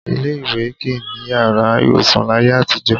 Ilé-ìwé kì í ní yàrá ìwòsàn láyé àtijọ́